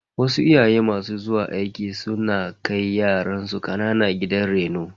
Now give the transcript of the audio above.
Wasu iyaye masu zuwa aiki su kan kai yaransu kanana gidan reno.